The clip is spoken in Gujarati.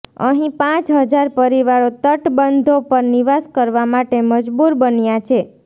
અહીં પાંચ હજાર પરિવારો તટબંધો પર નિવાસ કરવા માટે મજબૂર બન્યા છે